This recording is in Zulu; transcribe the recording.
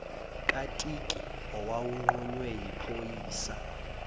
katiki owawunqunywe yiphoyisa